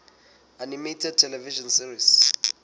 animated television series